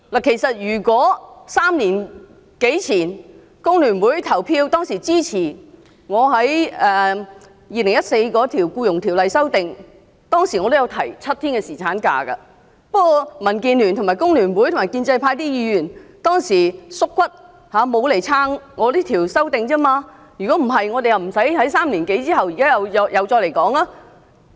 其實，如果3年多前，工聯會支持我就《2014年僱傭條例草案》提出的修正案，我當時也提出7天侍產假，不過，當時民建聯、工聯會及建制派議員"縮骨"，沒有支持我的修正案，否則，我們便不需在3年後，即現在再次討論這議題。